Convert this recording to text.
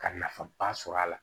Ka nafaba sɔrɔ a la